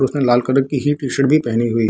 उसने लाल कलर की ही टी-शर्ट भी पहनी है।